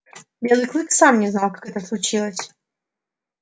белый клык сам не знал как это случилось